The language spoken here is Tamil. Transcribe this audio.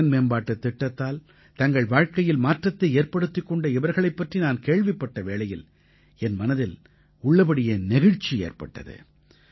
திறன்மேம்பாட்டுத் திட்டத்தால் தங்கள் வாழ்க்கையில் மாற்றத்தை ஏற்படுத்திக் கொண்ட இவர்களைப் பற்றி நான் கேள்விப்பட்ட வேளையில் என் மனதில் உள்ளபடியே நெகிழ்ச்சி ஏற்பட்டது